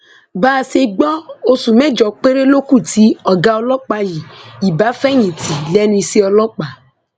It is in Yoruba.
bá a ṣe gbọ oṣù mẹjọ péré ló kù tí ọgá ọlọpàá yìí ibà fẹyìntì lẹnu iṣẹ ọlọpàá